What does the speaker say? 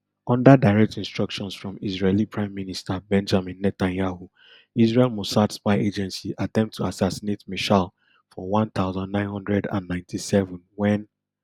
under direct instructions from israeli prime minister benjamin netanyahu israel mossad spy agency attempt to assassinate meshaal for one thousand, nine hundred and ninety-seven wen